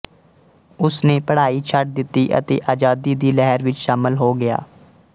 ਉਸ ਨੇ ਪੜ੍ਹਾਈ ਛੱਡ ਦਿੱਤੀ ਅਤੇ ਆਜ਼ਾਦੀ ਦੀ ਲਹਿਰ ਵਿੱਚ ਸ਼ਾਮਲ ਹੋ ਗਿਆ